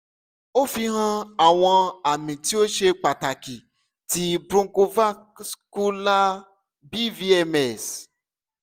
o fihan awọn ami ti o ṣe pataki ti bronchovascular bvms